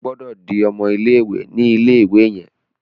O gbódò dì ọmọ ilé-ìwé ní ilé-ìwé yen!